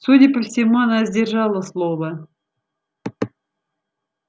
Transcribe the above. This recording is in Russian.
судя по всему она сдержала слово